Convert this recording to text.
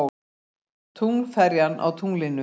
Tunglferjan á tunglinu.